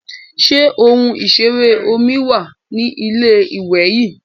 Ṣé ohun ìṣeré omi wà ní ilé-ìwè yín?